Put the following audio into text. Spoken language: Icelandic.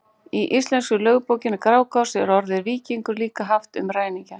Í íslensku lögbókinni Grágás er orðið víkingur líka haft um ræningja.